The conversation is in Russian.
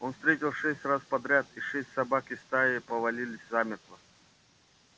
он выстрелил шесть раз подряд и шесть собак из стаи повалились замертво